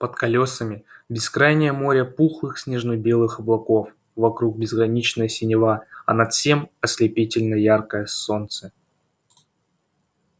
под колёсами бескрайнее море пухлых снежно-белых облаков вокруг безграничная синева а над всем ослепительно яркое солнце